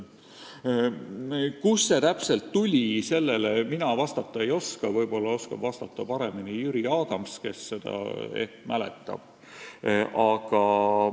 Kust see täpselt tuli, sellele mina vastata ei oska, võib-olla oskab paremini vastata Jüri Adams, kes seda ehk mäletab.